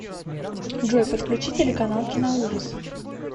джой подключи телеканал киноужас